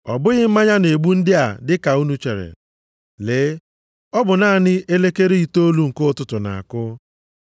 Ọ bụghị mmanya na-egbu ndị a dị ka unu chere. Lee, ọ bụ naanị elekere itoolu nke ụtụtụ na-akụ.